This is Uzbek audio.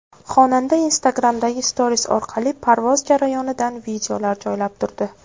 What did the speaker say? Xonanda Instagram’dagi Stories orqali parvoz jarayonidan videolar joylab turdi.